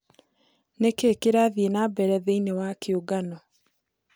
ni kĩĩ kirathĩe nambere thĩĩni wa kĩungano